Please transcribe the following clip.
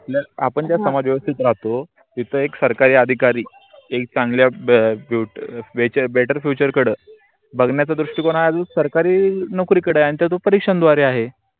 आपण ज्या समाज वेव्स्तीत राहतो. तीत एक सरकारी अधिकारी एक चांगल्या better future कड बघण्याच दृष्टिकोन आजूक सरकारी नोकरी कड आणि त्याचं परीक्षण द्वारे आहे.